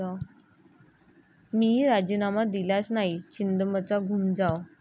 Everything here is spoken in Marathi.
मी राजीनामा दिलाच नाही, छिंदमचा घूमजाव